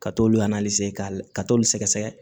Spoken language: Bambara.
Ka t'olu k'a la ka t'olu sɛgɛ sɛgɛ